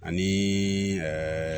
Ani ɛɛ